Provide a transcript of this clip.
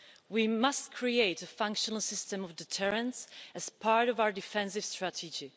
We must create a functional system of deterrence as part of our defensive strategy.